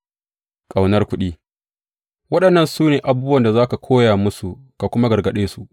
Ƙaunar kuɗi Waɗannan su ne abubuwan da za ka koya musu ka kuma gargaɗe su.